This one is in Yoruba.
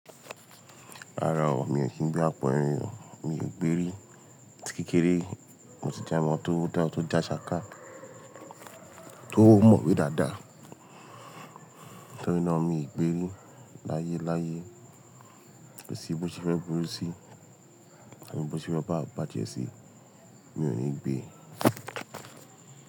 Rárá o, mi ò kí ń gbé àpọ́ eyin o, mi ò gbérí. Ati kékeré mo ti jẹ́ ọmọ tó dá tó jásáká tó mọ̀wé dáadáa. Ntori náà mi gbé rí láyéláyé, kọsí bó se fẹ́ burú sí, kọsí bóse fẹ́ bá bàjẹ́ sí, mi ò ní gbé.